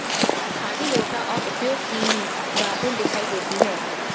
खाली लोटा और उपयोग की हुई दातुन दिखाई देती है